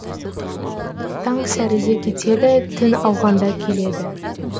таң сәріде кетеді түн ауғанда келеді